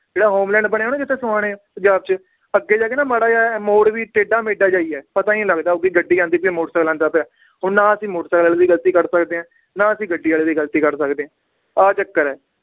ਜਿਹੜਾ ਹੋਮਲੈਂਡ ਬਣਿਆ ਨਾ ਜਿੱਥੇ ਸੋਹਾਣੇ ਪੰਜਾਬ ਚ ਅਗੇ ਜਾ ਕੇ ਨਾ ਮਾੜਾ ਜੇਹਾ ਮੋੜ ਵੀ ਟੇਢਾ ਮੈਡਾ ਜੇਹਾ ਹੀ ਹੈ, ਪਤਾ ਈ ਨੀ ਲੱਗਦਾ ਕਿ ਗੱਡੀ ਆਂਦੀ ਪਈ ਹੈ, ਮੋਟਰ ਸਾਇਕਲ ਆਂਦਾ ਪਿਆ, ਹੁਣ ਨਾ ਅਸੀ ਮੋਟਰ ਸਾਇਕਲ ਦੀ ਗਲਤੀ ਕੱਢ ਸਕਦੇ ਹਾਂ, ਨਾ ਅਸੀਂ ਗੱਡੀ ਆਲੇ ਦੀ ਗਲਤੀ ਕੱਢ ਸਕਦੇ, ਆਹ ਚੱਕਰ ਏ